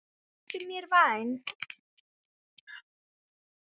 Vertu mér vænn